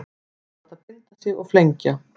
Vill láta binda sig og flengja